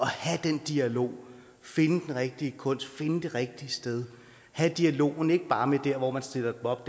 have den dialog finde den rigtige kunst finde det rigtige sted have dialogen ikke bare med der hvor man stiller det op